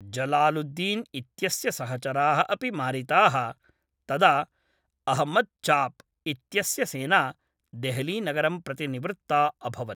जलालुद्दीन् इत्यस्य सहचराः अपि मारिताः तदा अहमद् चाप् इत्यस्य सेना देहलीनगरं प्रति निवृत्ता अभवत्।